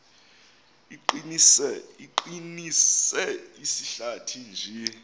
iqinise izihlathi nje